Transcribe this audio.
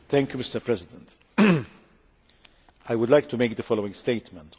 Mr President, I would like to make the following statement.